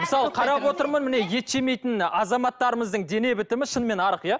мысалы қарап отырмын міне ет жемейтін азаматтарымыздың дене бітімі шынымен арық иә